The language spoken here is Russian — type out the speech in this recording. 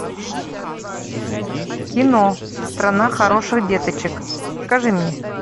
кино страна хороших деточек покажи мне